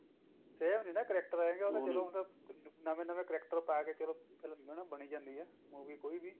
same ਨੀ ਨਾ character ਹੈਗੇ ਬੰਦਾ ਨਵੇਂ ਨਵੇਂ character ਪਾ ਕੇ ਚਲੋ ਫਿਲਮ ਬਣੀ ਜਾਂਦੀ ਹੈ movie ਕੋਈ ਵੀ